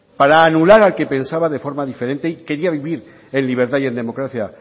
para anular al que pensaba de forma diferente y quería vivir en libertad y en democracia